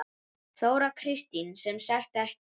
Þóra Kristín: Sem sagt ekki?